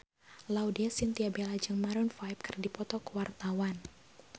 Laudya Chintya Bella jeung Maroon 5 keur dipoto ku wartawan